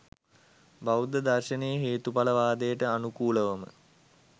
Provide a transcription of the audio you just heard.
බෞද්ධ දර්ශනයේ හේතුඵල වාදයට අනුකූලවම